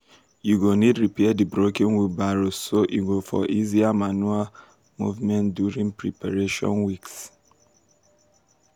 you go need repair d broken wheelbarrows so e go for easier manure movement during preparation weeks.